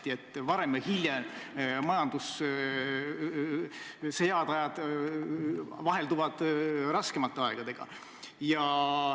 Küllap te teate, et varem või hiljem majanduses head ajad asenduvad raskemate aegadega.